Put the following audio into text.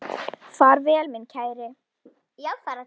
Far vel minn kæri.